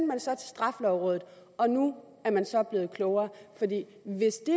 man så til straffelovrådet og nu er man så blevet klogere hvis det